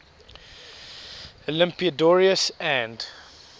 olympiodoros and